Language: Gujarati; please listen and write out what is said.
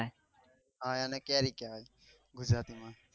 હા એને કેરી કેવાય ગુજરાતી માં